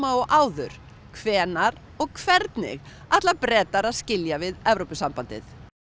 og áður hvenær og hvernig ætla Bretar að skilja við Evrópusambandið